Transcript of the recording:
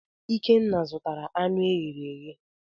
Ikenna zụtara anụ e ghere eghe.